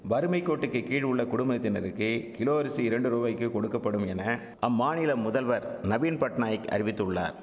வறுமைக்கோட்டுக்குகீழ் உள்ள குடுமத்தினருக்கு கிலோ அரிசி இரண்டு ரூபாய்க்கு கொடுக்க படும் என அம்மாநில முதல்வர் நவீன்பட்நாயக் அறிவித்துள்ளார்